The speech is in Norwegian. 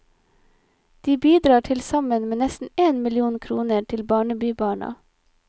De bidrar til sammen med nesten én million kroner til barnebybarna.